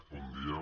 bon dia